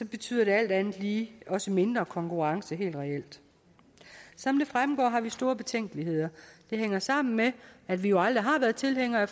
betyder det alt andet lige også mindre konkurrence helt reelt som det fremgår har vi store betænkeligheder det hænger sammen med at vi jo aldrig har været tilhængere af